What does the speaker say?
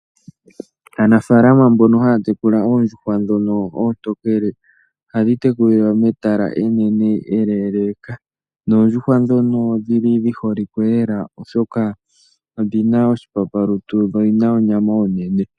Aanafalama mbono haya tekula oondjuhwa ndhono oontokele ohadhi tekulilwa metala enene eleeleka. Noondjuhwa ndhono odhili dhi holike lela ,oshoka odhina oshipapalutu dho odhina onyama onene.